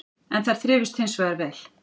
En þær þrifust hins vegar vel